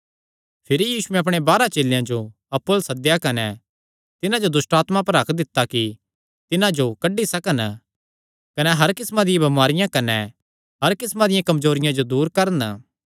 भिरी यीशुयैं अपणे बारांह चेलेयां जो अप्पु अल्ल सद्देया कने तिन्हां जो दुष्टआत्मां पर हक्क दित्ता कि तिन्हां जो कड्डी सकन कने हर किस्मां दियां बमारियां कने हर किस्मां दियां कमजोरियां जो दूर करन